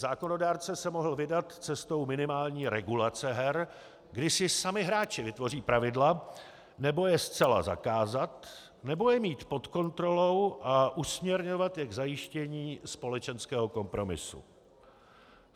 Zákonodárce se mohl vydat cestou minimální regulace her, kdy si sami hráči vytvoří pravidla, nebo je zcela zakázat, nebo je mít pod kontrolou a usměrňovat je k zajištění společenského kompromisu.